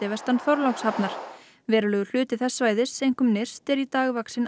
vestan Þorlákshafnar verulegur hluti þess svæðis einkum nyrst er í dag vaxinn